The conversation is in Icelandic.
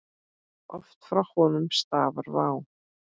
Oft frá honum stafar vá.